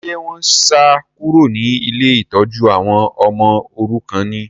Ṣé wọ́n sá kúrò ní ilé ìtọ́jú àwọn ọmọ òrukàn ni?